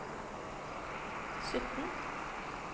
sytten